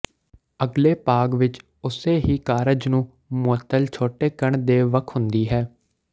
ਅਗਲੇ ਭਾਗ ਵਿੱਚ ਉਸੇ ਹੀ ਕਾਰਜ ਨੂੰ ਮੁਅੱਤਲ ਛੋਟੇਕਣ ਦੇ ਵੱਖ ਹੁੰਦੀ ਹੈ